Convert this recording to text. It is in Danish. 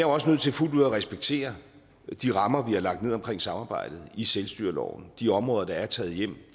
også nødt til fuldt ud at respektere de rammer vi har lagt ned omkring samarbejdet i selvstyreloven de områder der er taget hjem